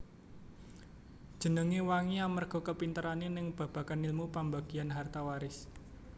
Jenenge wangi amerga kapinterane ning babagan ilmu pambagian harta waris